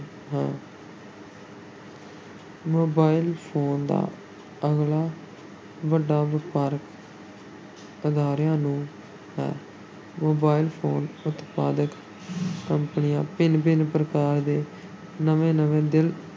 Mobile phone ਦਾ ਅਗਲਾ ਵੱਡਾ ਵਪਾਰ ਅਦਾਰਿਆਂ ਨੂੰ ਹੈ mobile phone ਉਤਪਾਦਕ ਕੰਪਨੀਆਂ ਭਿੰਨ-ਭਿੰਨ ਪ੍ਰਕਾਰ ਦੇ ਨਵੇਂ-ਨਵੇਂ ਦਿਲ